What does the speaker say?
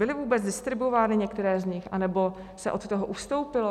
Byly vůbec distribuovány některé z nich, anebo se od toho ustoupilo?